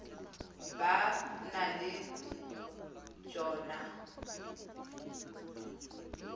ba na le t hono